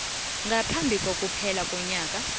ngaphambi kokuphela konyaka